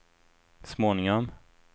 småningom